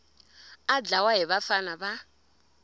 a dlawa hi vafana va